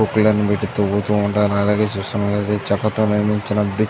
కొకిలం పెట్టీ లైనర్ పెట్టి తవ్వుతూ ఉంటారు. అలాగే చూస్తున్నట్లయితే చెక్కతో నిర్మించటం --